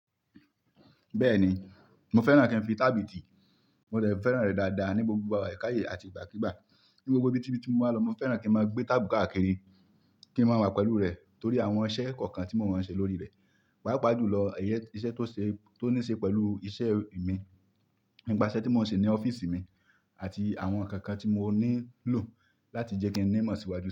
Bẹ́ẹ̀ni, mo fẹ́ràn kí n fi tábìtì, mo de fẹ́ràn rẹ̀ dáadáa ní gbogbo ìgbà ẹ̀ka ayé àti ìgbàkígbà. Ní gbogbo ibi tíbí tí mo máa lọ, mo fẹ́ràn kí n máa gbé tábùù káàkiri kí n máa wà pẹ̀lú rẹ̀ torí àwọn iṣẹ́ kọ̀ọ̀kan tí mo mọ̀ n ṣe lórí rẹ̀. Pápa jùlọ ẹ̀yẹ iṣẹ́ tó ṣe tó ní ṣe pẹ̀lú iṣẹ́ mi nípa iṣẹ́ tí mò ń ṣe ní ọ́fíìsì mi àti àwọn ǹkan kan tí mo nílò láti jẹ́ kí n ní mọ́ síwájú.